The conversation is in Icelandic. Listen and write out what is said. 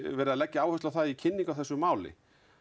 verið að leggja áherslu á í kynningu á þessu máli